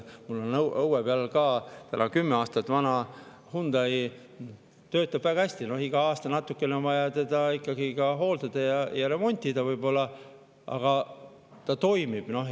Mul on õue peal ka kümme aastat vana Hyundai, töötab väga hästi, iga aasta natukene on vaja seda hooldada ja võib-olla remontida, aga see toimib.